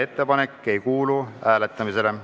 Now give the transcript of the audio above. Ettepanek ei kuulu hääletamisele.